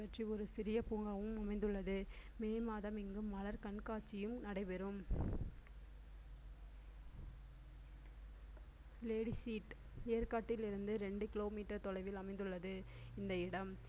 ஒரு சிறிய பூங்காவும் அமைந்துள்ளது மே மாதம் இங்கு மலர்க் கண்காட்சியும் நடைபெறும் லேடி சீட் ஏற்காட்டில் இருந்து இரண்டு kilometer தொலைவில் அமைந்துள்ளது இந்த இடம்